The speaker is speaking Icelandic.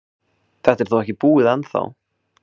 Þetta er þó ekki búið ennþá.